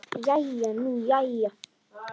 Jæja nú jæja.